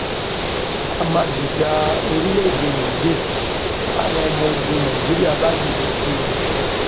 a máa gbèjà orílẹèdè niger táwọn ọmọ ogun nàìjíríà bá dìde sí wọn